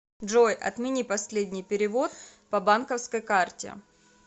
джой отмени последний перевод по банковской карте